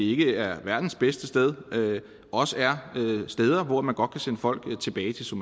ikke er verdens bedste sted også er steder man godt kan sende folk tilbage til så